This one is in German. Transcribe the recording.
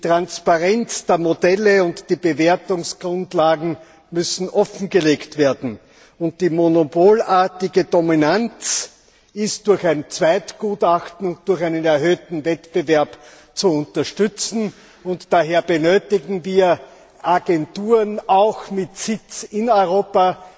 Transparenz ist geboten Modelle und Bewertungsgrundlagen müssen offengelegt werden Die monopolartige Dominanz ist durch ein Zweitgutachten, durch einen erhöhten Wettbewerb zu unterstützen, und daher benötigen wir Agenturen auch mit Sitz in Europa.